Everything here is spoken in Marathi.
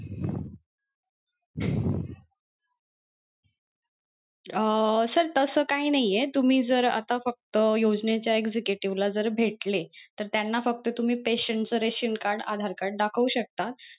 अं sir तस काही नाहीये तुम्ही जर आता फक्त योजनेच्या executive ला जर भेटले तर त्यांना तर त्यांना फक्त तुम्ही patient च ration card आधार card दाखवू शकता.